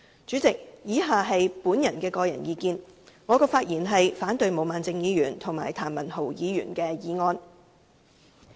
主席，以下是我的個人意見，我發言反對毛孟靜議員及譚文豪議員的議案。